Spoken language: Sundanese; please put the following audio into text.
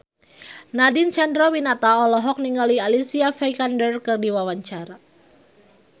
Nadine Chandrawinata olohok ningali Alicia Vikander keur diwawancara